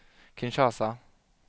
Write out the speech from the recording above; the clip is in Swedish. Kinshasa